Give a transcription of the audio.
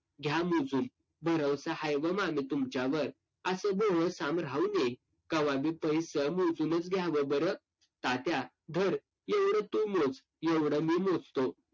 घ्या मोजून. भरवसा हाय व मामी तुमच्यावर. असे बोलून राहू नये. कवा बी पैसं मोजूनच घ्यावं बरं. तात्या धर, एवढं तु मोज. एवढं मी मोजतो.